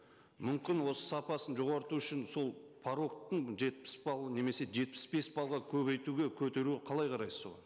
мүмкін осы сапасын жоғарлату үшін сол порогты жетпіс балл немесе жетпіс бес баллға көбейтуге көтеру қалай қарайсыз оған